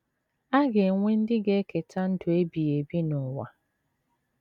A ga - enwe ndị ga - eketa ndụ ebighị ebi n’ụwa.